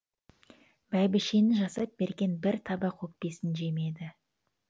бәйбішенің жасап берген бір табақ өкпесін жемеді